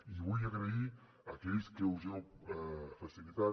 i vull agrair a aquells que ho heu facilitat